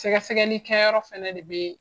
Sɛgɛsɛgɛli kɛyɔrɔ fana de be